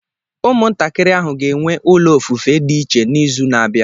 Ụmụntakịrị ahụ ga-enwe ụlọ ofufe dị iche n'izu na-abịa